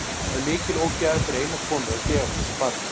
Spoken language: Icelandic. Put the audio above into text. Það er mikil ógæfa fyrir eina konu að gefa frá sér barn.